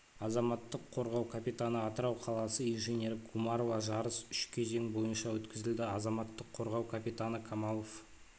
азаматтық қорғау капитаны атырау қаласы инженері гумарова жарыс үш кезең бойынша өткізілді азаматтық қорғау капитаны камалов